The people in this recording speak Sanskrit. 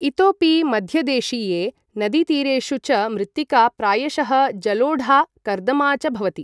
इतोपि मध्यदेशीये नदीतीरेषु च मृत्तिका प्रायशः जलोढा, कर्दमा च भवति।